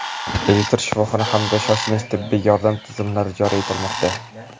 elektron shifoxona hamda shoshilinch tibbiy yordam tizimlari joriy etilmoqda.